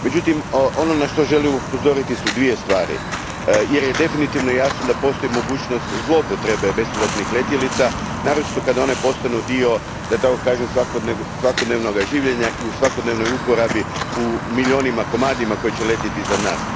Međutim, ono na što želim upozoriti su dvije stvari jer je definitivno jasno da postoji mogućnost zloupotrebe bespilotnih letjelica, naročito kada one postanu dio, da tako kažem, svakodnevnog življenja i u svakodnevnoj uporabi u milijunima komada koji će letjeti za nas.